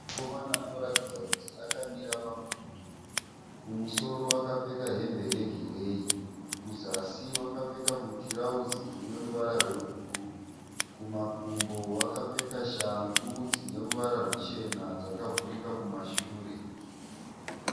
Mukomana anoratidza kuti akamira pamudhudhudhu. Kumusoro akapfeka hembe yegireyi kuzasi wakapfeka mutirauzi une ruvara rwebhuruu. Kumakumbo wakapfeka shangu dzine ruvara ruchena dzakavhurika kumashure.